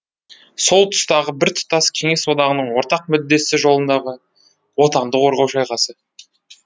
сол тұстағы біртұтас кеңес одағының ортақ мүддесі жолындағы отанды қорғау шайқасы